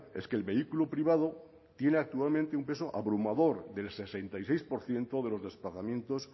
es que el vehículo privado tiene actualmente un peso abrumador del sesenta y seis por ciento de los desplazamientos